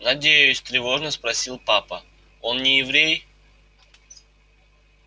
надеюсь тревожно спросил папа он не еврей